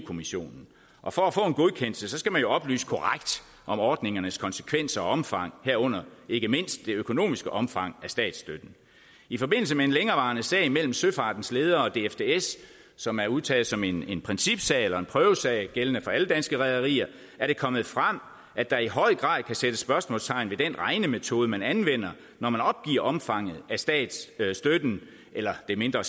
kommissionen og for at få en godkendelse skal man jo oplyse korrekt om ordningernes konsekvenser og omfang herunder ikke mindst det økonomiske omfang af statsstøtten i forbindelse med en længerevarende sag mellem søfartens ledere og dfds som er udtaget som en principsag eller en prøvesag gældende for alle danske rederier er det kommet frem at der i høj grad kan sættes spørgsmålstegn ved den regnemetode man anvender når man opgiver omfanget af statsstøtten eller det mindre